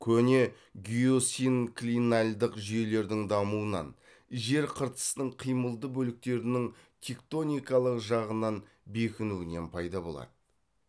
көне геосинклинальдық жүйелердің дамуынан жер қыртысының қимылды бөліктерінің тектоникалық жағынан бекінуінен пайда болады